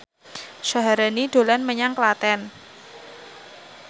Syaharani dolan menyang Klaten